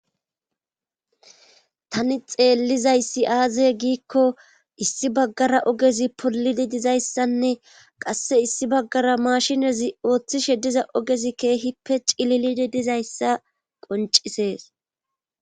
Tani xeellizayssi aaze giikko issi baggara ogezi polidi dizayssanne qasse issi baggara maashinezi ooththishe diza ogezi keehippe cililidi dizayssa qoncisees